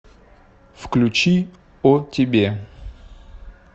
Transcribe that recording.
включи о тебе